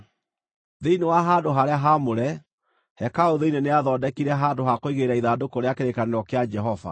Thĩinĩ wa handũ-harĩa-haamũre, hekarũ thĩinĩ nĩathondekire handũ ha kũigĩrĩra ithandũkũ rĩa kĩrĩkanĩro kĩa Jehova.